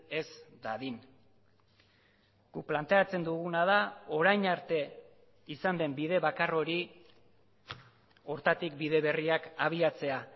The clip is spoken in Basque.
ez dadin guk planteatzen duguna da orain arte izan den bide bakar hori horretatik bide berriak abiatzea